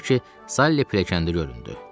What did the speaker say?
Axır ki, Sali pilləkəndə göründü.